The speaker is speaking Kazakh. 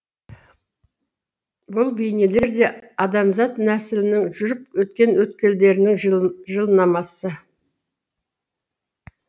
бұл бейнелер де адамзат нәсілінің жүріп өткен өткелектерінің жылнамасы